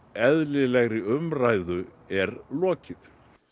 eðlilegri umræðu er lokið